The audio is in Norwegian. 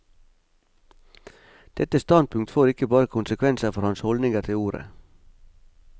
Dette standpunkt får ikke bare konsekvenser for hans holdninger til ordet.